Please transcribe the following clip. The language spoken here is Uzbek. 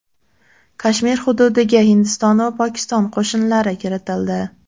Kashmir hududiga Hindiston va Pokiston qo‘shinlari kiritildi.